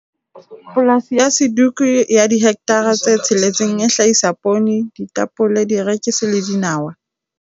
Polasi ya Suduka ya dihekthara tse tsheletseng e hlahisa poone, ditapole, dierekisi le dinawa.